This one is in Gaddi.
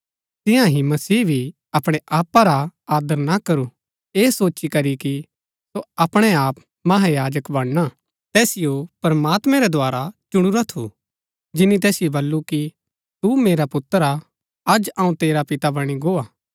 तियां ही मसीह भी अपणै आपा रा आदर ना करू ऐह सोची करी कि सो अपणै आप महायाजक बणना तैसिओ प्रमात्मैं रै द्धारा चुणुरा थू जिनी तैसिओ बल्लू कि तू मेरा पुत्र हा अज अऊँ तेरा पिता बणी गो हा